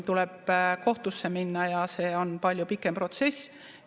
Tuleb kohtusse minna ja see on palju pikem protsess.